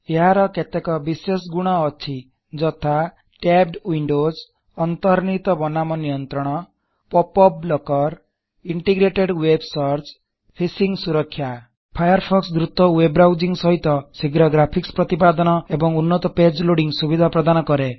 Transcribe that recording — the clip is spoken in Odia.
ଏହାର କେତେକ ବିଶେଷ ଗୁଣ ଅଛି ଯଥା ଟ୍ୟାବଡ ୱିଣ୍ଡୋଜ୍ ଅନ୍ତନିର୍ମିତ ବନାନ ନିୟନ୍ତ୍ରଣ pop up blocker integrated web searchଫିଶିଂ ସୁରଖ୍ୟା ଫାୟାରଫୋକ୍ସ ଦୃତ ୱେବ୍ ବ୍ରାଉସିଂଗ୍ ସହିତ ଶୀଘ୍ର ଗ୍ରାଫିକ୍ସ ପ୍ରତିପାଦନ ଏବଂ ଉନ୍ନତ ପେଜ ଲୋଅଡିଂଗ୍ ସୁବିଧା ପ୍ରଦାନ କରେ